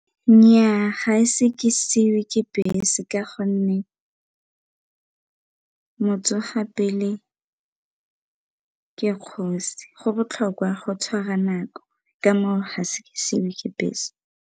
Nnyaa ga ise ke siiwe ke bese ka gonne motsoga pele ke kgosi, go botlhokwa go tshwara nako ka mo a ise ke siiwe ke bese.